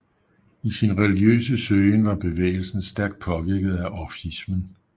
I sin religiøse søgen var bevægelsen stærkt påvirket af orfismen